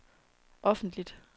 offentligt